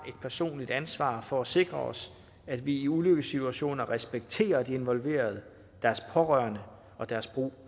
personligt ansvar for at sikre os at vi i ulykkessituationer respekterer de involverede deres pårørende og deres brug